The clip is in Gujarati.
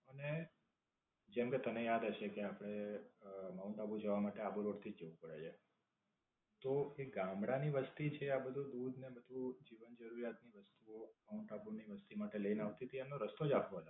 અને જેમકે તમે યાદ હશે કે આપડે અમ માઉન્ટ આબુ જવા માટે આબુ રોડ થી જ જવું પડે છે. તો, એ ગામડાં ની વસ્તી છે આ બધું દૂધ ને બધું જીવન જરૂરિયાત ની વસ્તુઓ માઉન્ટ આબુ ની વસ્તી માટે લઈને આવતી તી એનો રસ્તો આપડો છે.